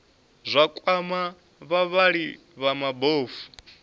zwa kwama vhavhali vha mabofu